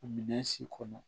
Minɛn si kɔnɔ